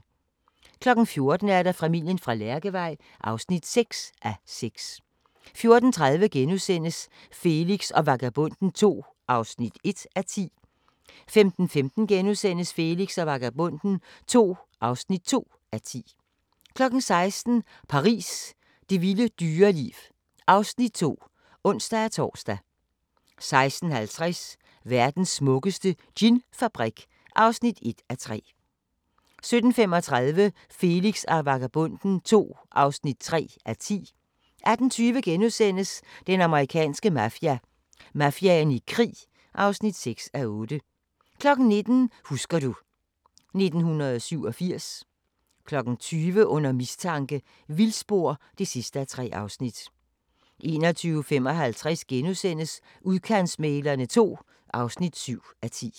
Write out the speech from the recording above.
14:00: Familien fra Lærkevej (6:6) 14:30: Felix og Vagabonden II (1:10)* 15:15: Felix og Vagabonden II (2:10)* 16:00: Paris – det vilde dyreliv (Afs. 2)(ons-tor) 16:50: Verdens smukkeste ginfabrik (1:3) 17:35: Felix og Vagabonden II (3:10) 18:20: Den amerikanske mafia: Mafiaen i krig (6:8)* 19:00: Husker du ... 1987 20:00: Under mistanke – vildspor (3:3) 21:55: Udkantsmæglerne II (7:10)*